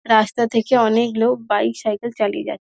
রাস্তা থেকে অনেক লোক বাইক সাইকেল চালিয়ে যা--